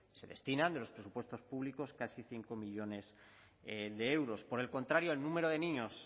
se destinan de los presupuestos públicos casi cinco millónes de euros por el contrario el número de niños